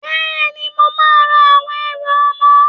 Bẹ́ẹ̀ni, màá ra àwọn ẹrù ọmọ.